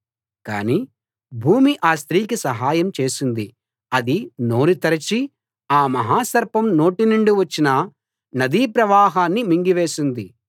కానీ భూమి ఆ స్త్రీకి సహాయం చేసింది అది నోరు తెరచి ఆ మహాసర్పం నోటి నుండి వచ్చిన నదీ ప్రవాహాన్ని మింగివేసింది